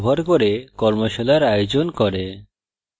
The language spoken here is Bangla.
কথ্য tutorials ব্যবহার করে কর্মশালার আয়োজন করে